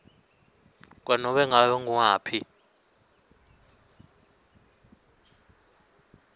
kwanobe ngabe nguwaphi